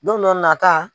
Don dɔ nata